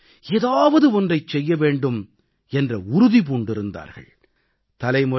ஒவ்வொருவரும் ஏதாவது ஒன்றைச் செய்ய வேண்டும் என்ற உறுதி பூண்டிருந்தார்கள்